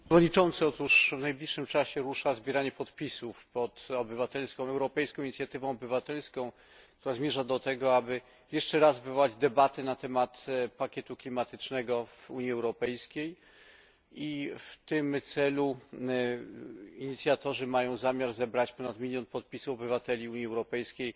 Panie Przewodniczący! Otóż w najbliższym czasie rusza zbieranie podpisów pod europejską inicjatywą obywatelską, która zmierza do tego, aby jeszcze raz wywołać debatę na temat pakietu klimatycznego w Unii Europejskiej, i w tym celu inicjatorzy mają zamiar zebrać ponad milion podpisów obywateli Unii Europejskiej